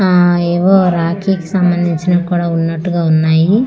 ఆ ఏవో రాఖీ కి సంబందించినవి కూడా ఉన్నటుగా ఉన్నాయి .